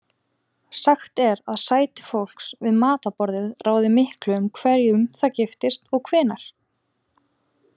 Sagt er að sæti fólks við matarborðið ráði miklu um hverjum það giftist og hvenær.